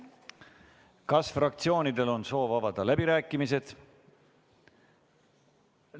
Kas fraktsioonidel on soov avada läbirääkimised?